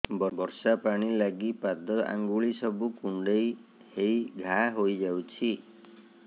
ବର୍ଷା ପାଣି ଲାଗି ପାଦ ଅଙ୍ଗୁଳି ସବୁ କୁଣ୍ଡେଇ ହେଇ ଘା ହୋଇଯାଉଛି